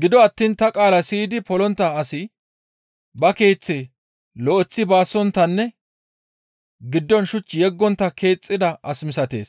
Gido attiin ta qaala siyidi polontta asi ba keeththe lo7eththi baasonttanne giddon shuch yeggontta keexxida asa misatees;